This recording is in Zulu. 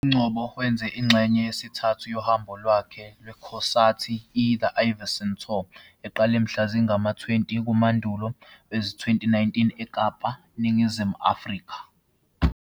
UNgcobo wenze ingxenye yesithathu yohambo lwakhe lwekhonsathi, i-The Ivyson Tour, eqale mhla zingama-20 kuMandulo wezi-2019, eKapa, eNingizimu Afrika.